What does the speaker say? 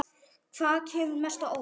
Hvaða kemur mest á óvart?